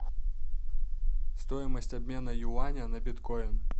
стоимость обмена юаня на биткоин